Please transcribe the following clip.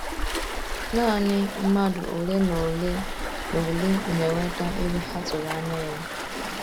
Nanị mmadụ ole na ole na - ole na - enweta ego ha tụrụ anya ya.